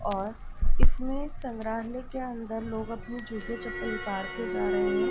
और इसमें संग्राहलय के अंदर लोग अपने जूते चप्पल उतर के जा रहे हैं।